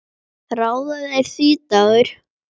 Ráða þeir því, Dagur?